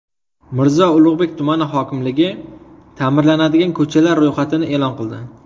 Mirzo Ulug‘bek tumani hokimligi ta’mirlanadigan ko‘chalar ro‘yxatini e’lon qildi.